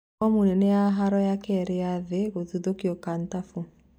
Mbomu nene ya haro ya kĩrĩ ya thĩ gũthũkio Kantafu